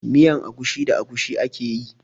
Miyan agushi da agushi ake yi.